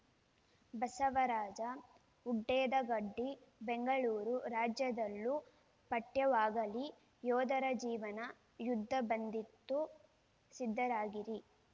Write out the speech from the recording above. ಬಸವರಾಜ ಹುಡೇದಗಡ್ಡಿ ಬೆಂಗಳೂರು ರಾಜ್ಯದಲ್ಲೂ ಪಠ್ಯವಾಗಲಿ ಯೋಧರ ಜೀವನ ಯುದ್ಧ ಬಂದಿತು ಸಿದ್ಧರಾಗಿರಿ